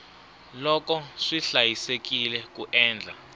loko swi hlayisekile ku endla